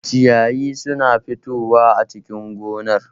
Ciyayi suna fitowa a cikin gonar